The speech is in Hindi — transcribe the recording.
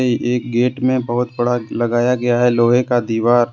एक गेट में बहुत बड़ा लगाया गया है लोहे का दीवार--